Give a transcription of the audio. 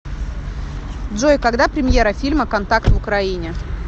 джой когда премьера фильма контакт в украине